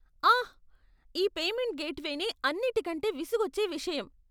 ఆహ్! ఈ పేమెంట్ గేట్వేనే అన్నిటికంటే విసుగొచ్చే విషయం.